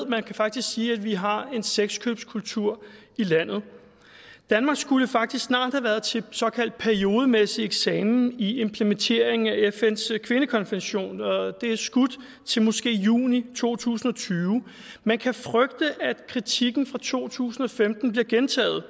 man kan faktisk sige at vi har en sexkøbskultur i landet danmark skulle faktisk snart have været til såkaldt periodemæssig eksamen i implementeringen af fns kvindekonvention det er skudt til måske juni to tusind og tyve man kan frygte at kritikken fra to tusind og femten bliver gentaget